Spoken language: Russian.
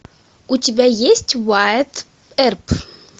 у тебя есть уайатт эрп